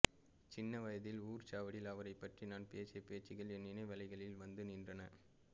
சின்ன வயதில் ஊர்ச்சாவடியில் அவரைப்பற்றி நான் பேசிய பேச்சுக்கள் என் நினைவலைகளில் வந்து நின்றன